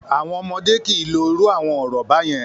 Àwọn ọmọdé kì í lo irú àwọn ọ̀rọ̀ báyẹn!